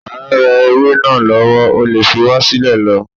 À ń re ewé náà lọ́wọ́, o lè fi wá sílẹ̀ lọ.